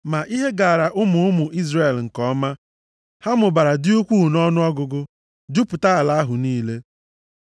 Ma ihe gaara ụmụ ụmụ Izrel nke ọma, ha mụbara, dị ukwuu nʼọnụọgụgụ, jupụta ala ahụ niile.